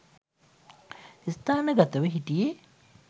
ස්ථානගතව හිටියේ